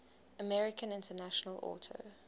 american international auto